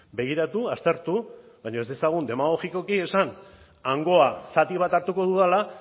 begiratu aztertu baina ez dezagun demagogikoki esan hangoa zati bat hartuko dudala